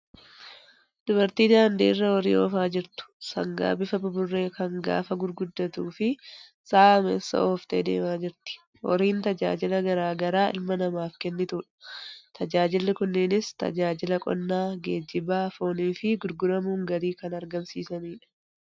Dubartii daandii irra horii oofaa jirtu. Sangaa bifa buburree kan gaafa gurguddatuu fi sa'a ameesa ooftee deemaa jirti. Horiin tajaajila garaa garaa ilma namaaf kennitudha. Tajaajilli kunneenis tajaajila qonnaa, geejjibaa, foonii fi gurguramuun galii kan argamsiisanidha.